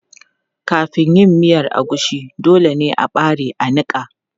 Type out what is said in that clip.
Kafin yin miya agushi, dole ne a ɓare a niƙa.